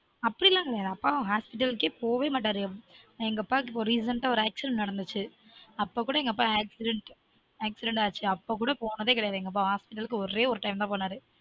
அப்டிலான் கெடயாது அப்பாலான் hospital க்கே போவே மாட்டாரு எங்க அப்பாக்கு இப்பொ recent ஒரு accident நடந்தச்சு அப்ப கூட எங்க அப்பா accident ல accident ஆச்சு அப்பொ கூட போனதே கெடயாது எங்க அப்பா ஒரே ஒரு time தான் போனாரு